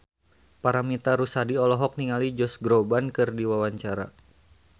Paramitha Rusady olohok ningali Josh Groban keur diwawancara